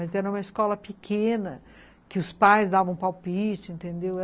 Mas era uma escola pequena, que os pais davam palpite, entendeu?